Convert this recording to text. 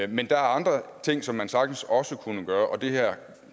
men der er andre ting som man sagtens også kunne gøre og det her